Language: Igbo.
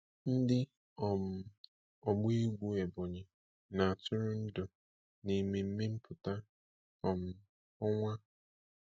Ndị um ọgba egwu Ebonyi na-atụrụ ndụ n'ememme mputa um ọnwa.